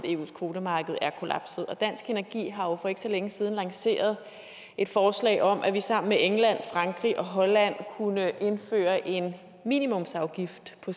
eus kvotemarked er kollapset og dansk energi har for ikke så længe siden lanceret et forslag om at vi sammen med england frankrig og holland kunne indføre en minimumsafgift på